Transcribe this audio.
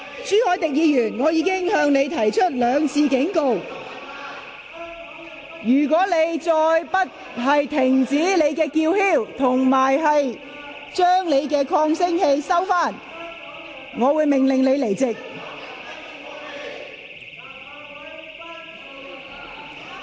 朱凱廸議員，我已兩次警告你，如果你仍然拒絕停止叫喊及關掉發聲裝置，我會命令你退席。